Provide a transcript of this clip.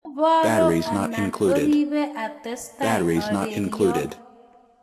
Oboro anan oribo atestai areriok?